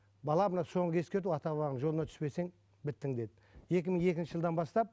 бала мына соңғы ескерту ата бабаңның жолына түспесең біттің деді екі мың екінші жылдан бастап